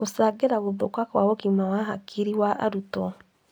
gũcangĩra gũthũka kwa ũgima wa hakiri wa arutwo.